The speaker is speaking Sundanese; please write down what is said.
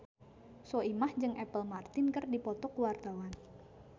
Soimah jeung Apple Martin keur dipoto ku wartawan